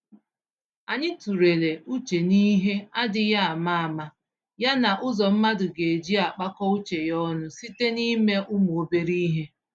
Anyị tụlere uche n'ihe adịghị àmà-àmà, ya na ụzọ mmadụ geji akpakọ uche ya ọnụ site n'ime ụmụ-obere-ihe